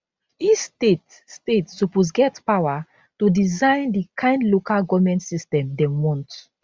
each state state suppose get power to design di kind local goment system dem want